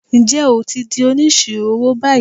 Ǹjẹ́ o ti di Onísirò owó báyìí?